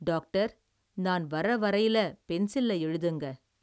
Doctor, நான் வர வரையில, பென்சில்ல எழுதுங்க.